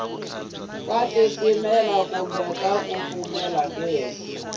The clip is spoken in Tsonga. ku titimela kumbe ku kufumela